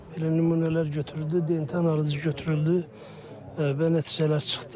Belə nümunələr götürüldü, DNT analizi götürüldü və nəticələr çıxdı.